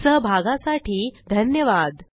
सहभागासाठी धन्यवाद